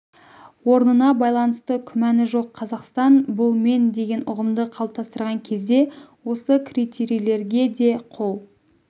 орнына байланысты күмәні жоқ қазақстан бұл мен деген ұғымды қалыптастырған кезде осы критерийлерге де қол